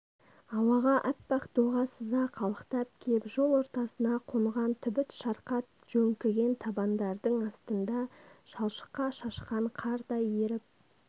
құймышақ қағар тоқпақтай сыңар бұрым тарқатылып тоқымдай қара бұлт төбесіне ойнап шыға келгендей жайыла толқып жарты денесін жауып